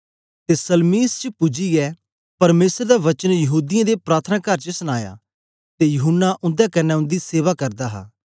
ते सलमीस च पूजियै परमेसर दा वचन यहूदीयें दे प्रार्थनाकार च सनाया ते यूहन्ना उन्दे कन्ने उन्दी सेवा करदा हा